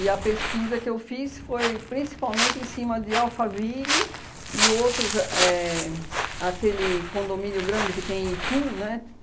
E a pesquisa que eu fiz foi principalmente em cima de Alphaville e outros... Éh aquele condomínio grande que tem em Itu, né?